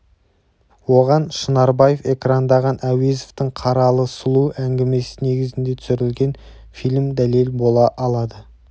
оған шынарбаев экрандаған әуезовтің қаралы сұлу әңгімесі негізінде түсірілген фильм дәлел бола алады